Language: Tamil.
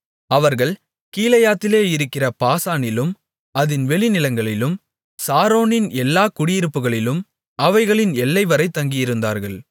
அவர்கள் கீலேயாத்திலே இருக்கிற பாசானிலும் அதின் வெளிநிலங்களிலும் சாரோனின் எல்லாக் குடியிருப்புக்களிலும் அவைகளின் எல்லைவரை தங்கியிருந்தார்கள்